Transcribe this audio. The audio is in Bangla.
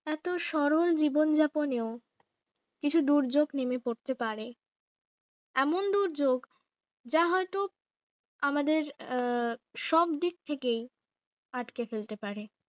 এত সরল জীবন যাপনে ও কিছু দুর্যোগ নেমে পড়তে পারে এমন দুর্যোগ যা হয়তো আমাদের আহ সবদিক থেকে আটকে ফেলতে পারে